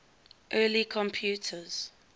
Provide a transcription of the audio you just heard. early computers